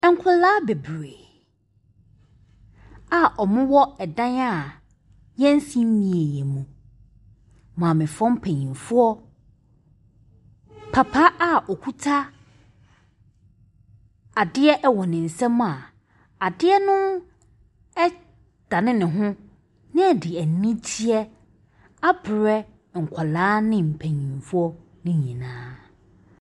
Nkwadaa bebree a wɔwɔ ɛdan a wɔnsi nwieeɛ mu. Maamefoɔ mpanyinfoɔ, papa a ɔkuta adeɛ wɔ ne nsam a adeɛ no ɛ dane ne ho, na ɛde anigyeɛ abrɛ nkwadaa ne mpaninfoɔ no nyinaa.